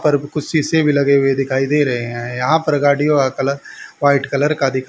पर कुछ शीशे भी लगे हुए दिखाई दे रहे हैं यहां पर गाड़ियों का कलर वाइट कलर का दिख--